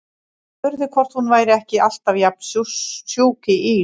Og spurði hvort hún væri ekki alltaf jafn sjúk í ís.